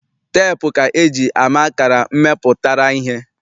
Teepu ka eji ama akara mmepụtara ihe.